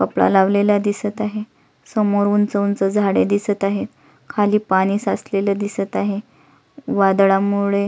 कपडा लावलेला दिसत आहे समोर उंच उंच झाडे दिसत आहे खाली पाणी साचलेल दिसत आहे वादळामुळे --